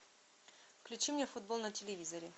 включи мне футбол на телевизоре